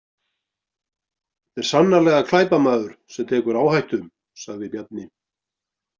Þetta er sannarlega glæpamaður sem tekur áhættu, sagði Bjarni.